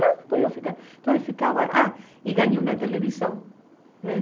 eu ficava Então eu ficava... Ah, e ganhei uma televisão né.